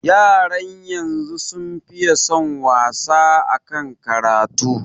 Yaran yanzu sun fiye son wasa akan karatu